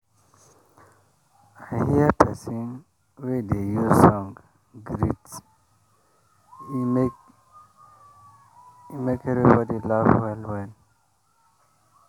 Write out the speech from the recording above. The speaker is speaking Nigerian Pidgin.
i hear persin wey dey use song greet e make e make everybody laugh well well.